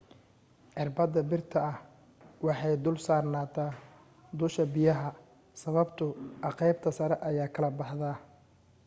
irbada birta ah waxay dul saarnataa dusha biyaha sababtoo aqeybta sare ayaa kala baxda